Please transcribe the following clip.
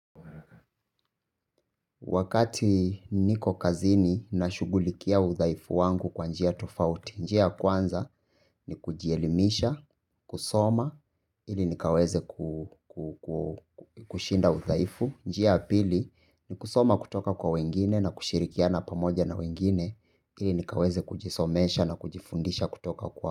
Wakati niko kazini nashughulikia udhaifu wangu kwa njia tofauti, njia ya kwanza ni kujielimisha, kusoma, ili nikaweze kushinda udhaifu, njia ya pili ni kusoma kutoka kwa wengine na kushirikiana pamoja na wengine, ili nikaweze kujisomesha na kujifundisha kutoka kwa.